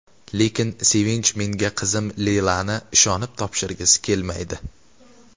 Lekin Sevinch menga qizim Leylani ishonib topshirgisi kelmaydi.